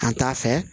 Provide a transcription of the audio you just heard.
An t'a fɛ